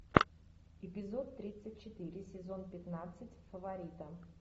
эпизод тридцать четыре сезон пятнадцать фаворита